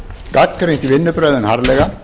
gagnrýnt vinnubrögðin harðlega